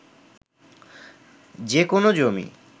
যে কোনো জমি